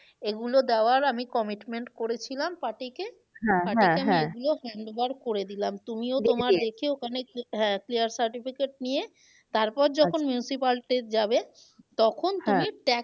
এগুলো দেওয়ার আমি commitment করেছিলাম party কে handover করে দিলাম তুমিও ওখানে হ্যাঁ clear certificate নিয়ে তারপর যখন municipality যাবে তখন tax